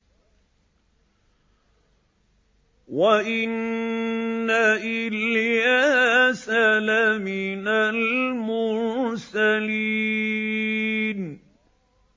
وَإِنَّ إِلْيَاسَ لَمِنَ الْمُرْسَلِينَ